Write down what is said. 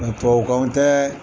Nka tubabukanw tɛ